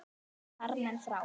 Og þar voru farmenn frá